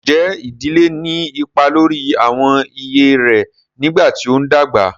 Ǹjẹ́ ìdílé ní ipa lórí àwọn iyè rẹ nígbà tí ó ń dàgbà?